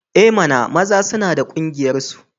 I mana! maza suna da ƙungiyarsu.